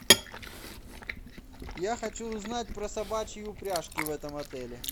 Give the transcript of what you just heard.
я хочу узнать про собачьи упряжки в этом отеле